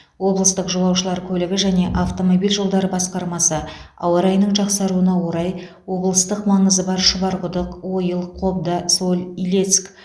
облыстық жолаушылар көлігі және автомобиль жолдары басқармасы ауа райының жақсаруына орай облыстық маңызы бар шұбарқұдық ойыл қобда соль илецк